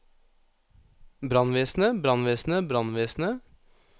brannvesenet brannvesenet brannvesenet